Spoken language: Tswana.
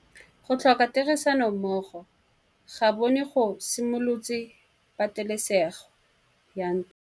Go tlhoka tirsanommogo ga bone go simolotse patêlêsêgô ya ntwa.